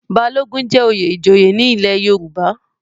Balogun jẹ́ oyè ìjòyè ní ilé Yorùbá.